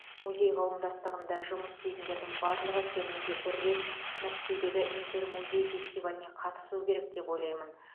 музей қауымдастығында жұмыс істейтіндердің барлығы кемінде бір рет мәскеудегі интермузей фестиваліне қатысуы керек деп ойлаймын